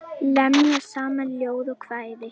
Lemja saman ljóð og kvæði.